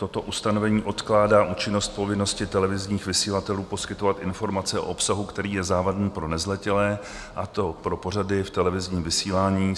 Toto ustanovení odkládá účinnost povinnosti televizních vysílatelů poskytovat informace o obsahu, který je závadný pro nezletilé, a to pro pořady v televizním vysílání.